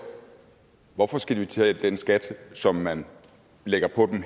hvorfor de skal betale den skat som man lægger på dem